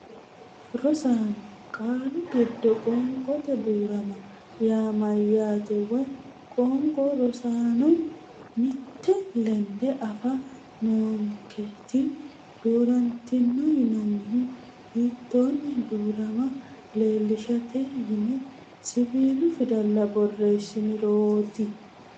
Rosaano, qaalu giddo qoonqote duu’rama yaa mayyaate woy qoonqo Rosaano, mitte lende afa noonketi, duu’rantino yinannihu hiittoonni duu’rama leellishshate yine siwiilu fidalla borreessanturooti?